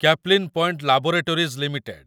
Caplin Point laboratories limited